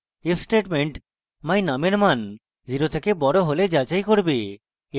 if statement my _ num এর মান 0 এর থেকে বড় হলে যাচাই করবে